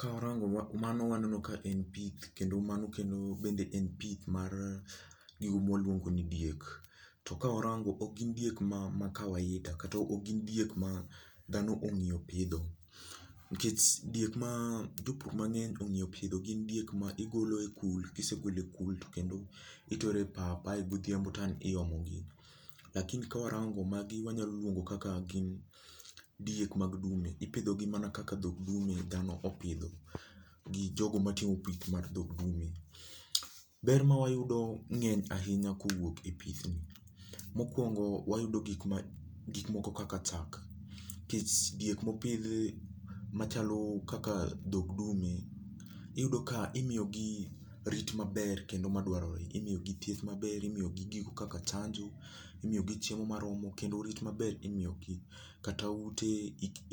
Kawarango mano waneno kaen pith kendo mano bende en pith mar gigo mwaluongo ni diek. To kawarango ok gin diek ma kawaida kata ok gin diek madhano ongiyo pidho nikech diek majopur mangeny ongiyo pidho gin diek maigolo e kul kisegolo e kul tokendo itere pap ae godhiambo to ang iomogi lakini kawarango magi wanyalo luongo kaka gin diek mag dume ipidho gi mana kaka dhog dume dhano opidho gijogo matimo pith mar dho dume. Ber mwayudo ngeny ahinya kowuok e pithni, mokwongo wayudo gikmoko kaka chak nikech diek mopidhi machalo kaka dho dume, iyudo ka imiyo gi rit maber kendo madwarore, imiyo gi thieth maber, imiyo gi gigo kaka chanjo, imiyo gi chiemo maromo kendo rit maber imiyogi, kata ute